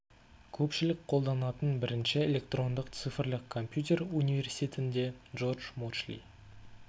көпшілік қолданатын бірінші электрондық цифрлік компьютер университетінде джордж мочли